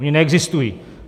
Ony neexistují.